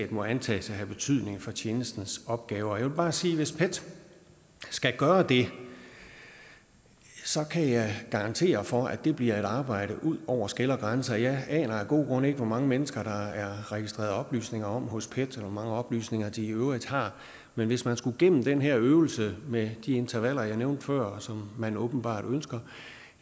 må antages at have betydning for tjenestens opgaver jeg må bare sige at hvis pet skal gøre det så kan jeg garantere for at det bliver et arbejde ud over skel og grænser jeg aner af gode grunde ikke hvor mange mennesker der er registreret oplysninger om hos pet og hvor mange oplysninger de i øvrigt har men hvis man skulle igennem den her øvelse med de intervaller jeg nævnte før og som man åbenbart ønsker